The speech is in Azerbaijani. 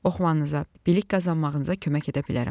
Oxumanıza, bilik qazanmağınıza kömək edə bilərəm.